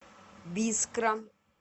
бискра